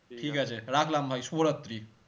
রাখলাম ভাই শুভরাত্রি